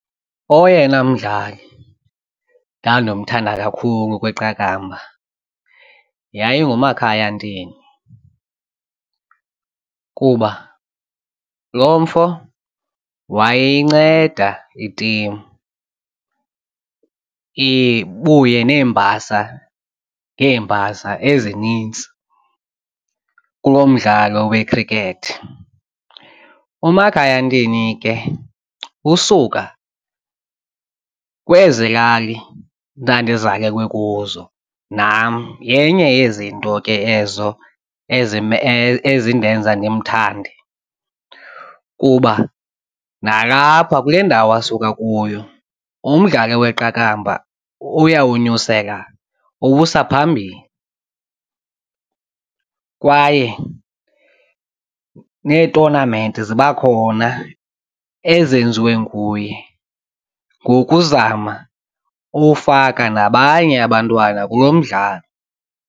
Oyena mdlali ndandimthanda kakhulu kwiqakamba yayinguMakhaya Ntini kuba lo mfo wayeyinceda itimu ibuye neembasa ngeembasa ezinintsi kulo mdlalo wekhrikethi. UMakhaya Ntini ke usuka kwezi lali ndandizalelwe kuzo nam yenye yezinto ke ezo ezindenza ndimthande kuba nalapha kule ndawo asuka kuyo umdlalo weqakamba uyawunyusela uwuvusa phambili kwaye neetonamenti ziba khona ezenziwe nguye ngokuzama ufaka nabanye abantwana kulo mdlalo.